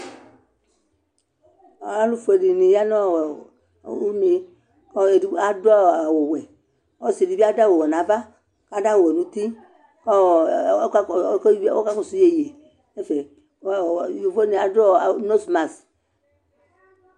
Alu foe dini ya nɔ, ɔɔɔ UneKʋ ɔlu edigbo adʋ awu'wɛƆsi dibi adʋ awu 'wɛ nʋ ava, kʋ adʋ awu'wɛ nʋ uti kʋ ɔɔ ɔkakɔsu yeye nɛfɛ mɛ ɔɔ yovo nu adu ɔɔɔ unosmas